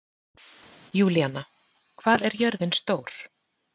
Júlíanna, hvað er jörðin stór?